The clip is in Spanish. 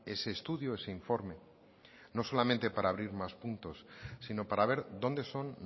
ese estudio ese informe no solamente para abrir más puntos sino para ver dónde son